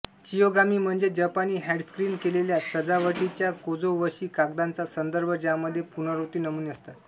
chiyogami म्हणजे जपानी handscreen केलेल्या सजावटीच्या कोझो वशी कागदाचा संदर्भ ज्यामध्ये पुनरावृत्ती नमुने असतात